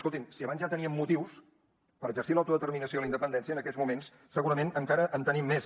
escolti’m si abans ja teníem motius per exercir l’autodeterminació i la independència en aquests moments segurament encara en tenim més